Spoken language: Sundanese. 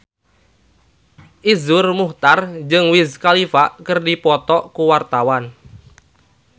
Iszur Muchtar jeung Wiz Khalifa keur dipoto ku wartawan